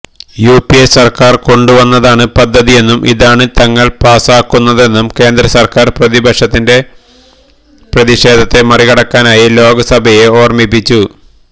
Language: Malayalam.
യുപിഎ സർക്കാർ കൊണ്ടുവന്നതാണ് പദ്ധതിയെന്നും ഇതാണ് തങ്ങൾ പാസാക്കുന്നതെന്നും കേന്ദ്രസർക്കാർ പ്രതിപക്ഷത്തിന്റെ പ്രതിഷേധത്തെ മറികടക്കാനായി ലോക്സഭയെ ഓർമ്മിപ്പിച്ചു